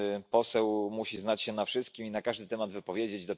Poseł musi znać się na wszystkim i na każdy temat wypowiedzieć.